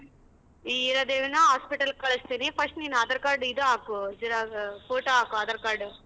ಈ ಹೀರಾದೇವಿನ hospital ಗ್ ಕಳ್ಸ್ತೀನಿ first ನೀನ್ aadhar card ಇದ್ ಹಾಕು ಜೆರಾ~ ಆ photo ಹಾಕು aadhar card.